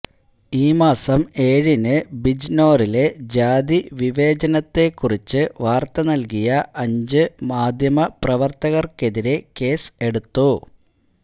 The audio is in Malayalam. ഈ മാസം ഏഴിന് ബിജ്നോറിലെ ജാതിവിവേചനത്തെ കുറിച്ച് വാര്ത്ത നല്കിയ അഞ്ച് മാധ്യമപ്രവര്ത്തകര്ക്കെതിരെ കേസ് എടുത്തു